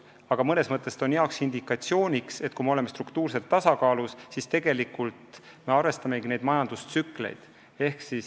Aga mõnes mõttes on see hea indikatsioon, et kui me oleme struktuurses tasakaalus, siis me arvestamegi majandustsükleid.